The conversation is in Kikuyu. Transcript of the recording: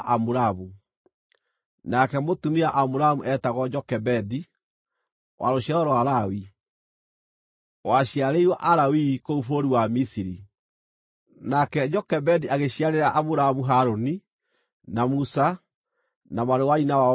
nake mũtumia wa Amuramu eetagwo Jokebedi, wa rũciaro rwa Lawi, waciarĩirwo Alawii kũu bũrũri wa Misiri. Nake Jokebedi agĩciarĩra Amuramu Harũni, na Musa, na mwarĩ wa nyina wao Miriamu.